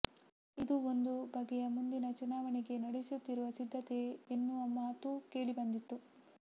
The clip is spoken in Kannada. ಇದು ಒಂದು ಬಗೆಯ ಮುಂದಿನ ಚುನಾವಣೆಗೆ ನಡೆಸುತ್ತಿರುವ ಸಿದ್ಧತೆ ಎನ್ನುವ ಮಾತೂ ಕೇಳಿಬಂದಿತು